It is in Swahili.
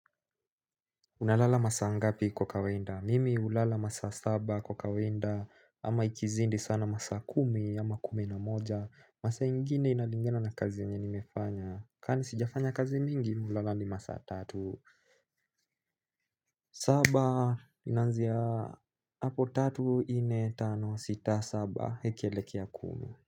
Unalala masaa ngapi kwa kawaida? Mimi hulala masaa saba kwa kawaida ama ikizidi sana masaa kumi ama kumi na moja. Masaa ingine inalingana na kazi yenye nimefanya. Kwani sijafanya kazi mingi mi hulala hadi ma saa tatu. Saba inaanzia hapo tatu nne tano sita saba ikielekea kumi.